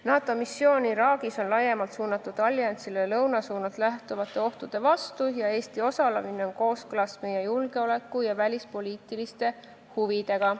NATO missioon Iraagis on laiemalt suunatud alliansile lõunasuunalt lähtuvate ohtude vastu ja Eesti osalemine on kooskõlas meie julgeoleku- ja välispoliitiliste huvidega.